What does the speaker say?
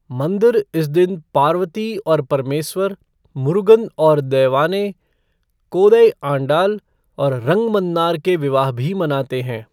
मंदिर इस दिन पार्वती और परमेस्वर, मुरुगन और दैवानै, कोदै आंडाल और रंगमन्नार के विवाह भी मनाते हैं।